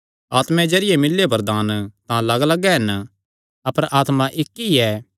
आत्मा दे जरिये मिल्लेयो वरदान तां लग्गलग्ग हन अपर आत्मा इक्क ई ऐ